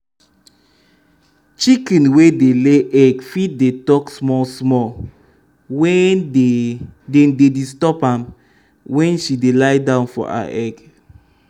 chicken wey dey ley egg fit dey talk small small wen dey dem dey disturb am wen she dey lie down for her egg